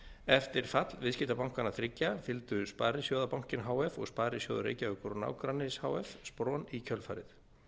eftir fall viðskiptabankanna þriggja fylgdu sparisjóðabankinn h f og sparisjóður reykjavíkur og nágrennis h f spron í kjölfarið